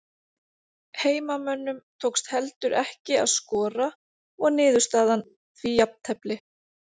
Heimamönnum tókst heldur ekki að skora og niðurstaðan því jafntefli.